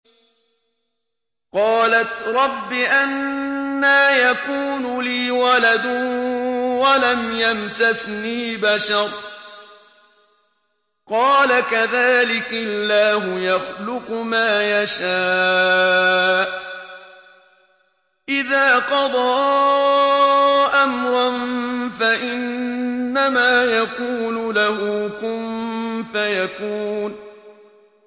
قَالَتْ رَبِّ أَنَّىٰ يَكُونُ لِي وَلَدٌ وَلَمْ يَمْسَسْنِي بَشَرٌ ۖ قَالَ كَذَٰلِكِ اللَّهُ يَخْلُقُ مَا يَشَاءُ ۚ إِذَا قَضَىٰ أَمْرًا فَإِنَّمَا يَقُولُ لَهُ كُن فَيَكُونُ